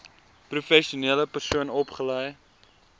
professionele persoon opgelei